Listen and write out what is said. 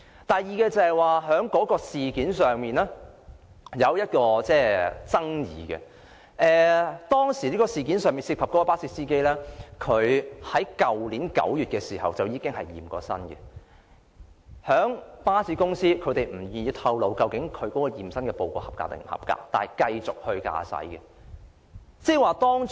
第二，該宗事件引起爭議的一點，是事件涉及的巴士司機在去年9月曾經檢驗身體，而巴士公司卻不願意透露其驗身報告是否合格，但仍讓他繼續駕駛。